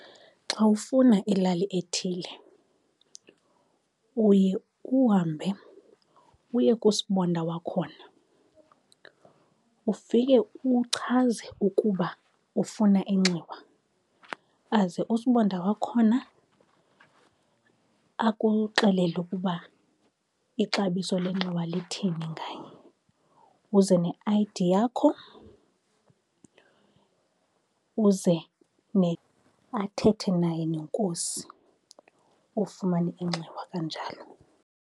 Xa ufuna ilali ethile uye uhambe uye kusibonda wakhona ufike uchaze ukuba ufuna inxiwa, aze usibonda wakhona akuxelele ukuba ixabiso lenxiwa lithini ngaye. Uze ne-I_D yakho, uze athethe naye nenkosi ufumane inxiwa kanjalo.